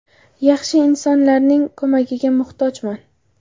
Yaxshi insonlarning ko‘magiga muhtojman.